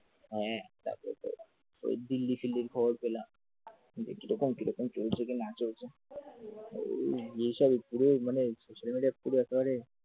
হ্যাঁ তাতেও তো ওই দিল্লী ফিল্লির খবর পেলাম। কিরকম কিরকম কি চলছে কিনা চলছে কি ব্যাপারে যেসব পুরো social media পুরো একবারে